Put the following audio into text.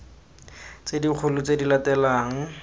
tse dikgolo tse di latelang